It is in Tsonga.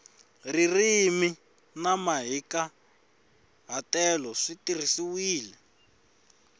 ririmi na mahikahatelo swi tirhisiwile